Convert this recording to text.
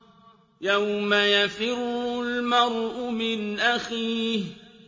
يَوْمَ يَفِرُّ الْمَرْءُ مِنْ أَخِيهِ